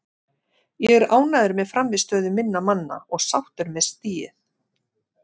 Ég er ánægður með frammistöðu minna manna og sáttur með stigið.